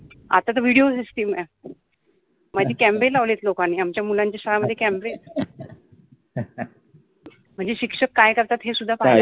आता तर video system आहे माझि कॅमरे लावले आहेत लोकानि आमच्या मुलांच्या शाळेमधे कॅमरे म्हनजे शिक्षक काय करतात हेसुद्धा पाहतात.